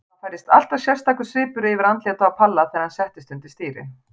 Það færðist alltaf sérstakur svipur yfir andlitið á Palla þegar hann settist undir stýri.